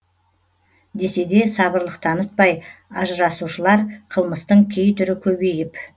десе де сабырлық танытпай ажырасушылар қылмыстың кей түрі көбейіп